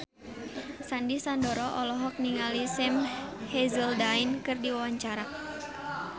Sandy Sandoro olohok ningali Sam Hazeldine keur diwawancara